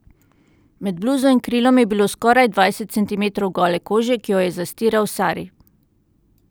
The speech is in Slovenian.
Med bluzo in krilom je bilo skoraj dvajset centimetrov gole kože, ki jo je zastiral sari.